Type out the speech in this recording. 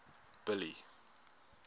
billy